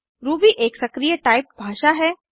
Ruby एक सक्रीय typed भाषा है